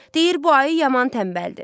Deyir bu ayı yaman tənbəldir.